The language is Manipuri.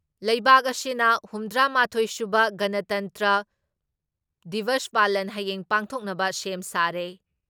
ꯂꯩꯕꯥꯛ ꯑꯁꯤꯅ ꯍꯨꯝꯗ꯭ꯔꯥ ꯃꯥꯊꯣꯏ ꯁꯨꯕ ꯒꯅꯇꯟꯇ꯭ꯔ ꯗꯤꯕꯁ ꯄꯥꯂꯟ ꯍꯌꯦꯡ ꯄꯥꯡꯊꯣꯛꯅꯕ ꯁꯦꯝ ꯁꯥꯔꯦ ꯫